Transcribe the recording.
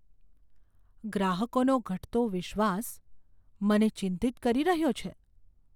ગ્રાહકોનો ઘટતો વિશ્વાસ મને ચિંતિત કરી રહ્યો છે.